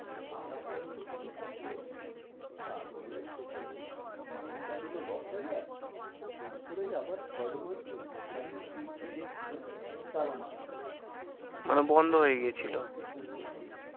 আর একটা দু টো project আসলো তারপরে মাইনেটা দিলো দশ হাজার তারপরে আবার third month এক তারিখে গেছি দেখতে তালা মারা। মানে বন্ধ হয়ে গেছিল। boss কে phone করছি